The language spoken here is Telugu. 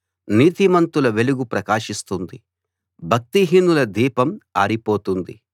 నీతిమంతుల వెలుగు ప్రకాశిస్తుంది భక్తిహీనుల దీపం ఆరిపోతుంది